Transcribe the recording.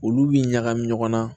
Olu bi ɲagami ɲɔgɔn na